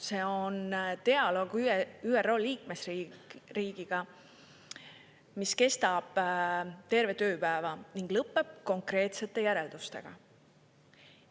See on dialoog ÜRO liikmesriigiga, mis kestab terve tööpäeva ning lõpeb konkreetsete järeldustega.